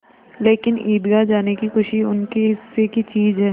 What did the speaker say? लेकिन ईदगाह जाने की खुशी उनके हिस्से की चीज़ है